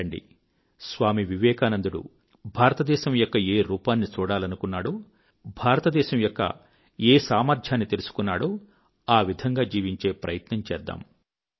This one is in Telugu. రండి స్వామీ వివేనందుడు భారతదేశం యొక్క ఏ రూపాన్ని చూడాలనుకున్నాడో భారతదేశం యొక్క ఏ సామర్థ్యాన్ని తెలుసుకున్నాడో ఆ విధంగా జీవించే ప్రయత్నం చేద్దాం